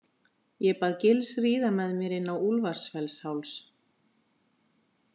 Ég bað Gils ríða með mér inn á Úlfarsfellsháls.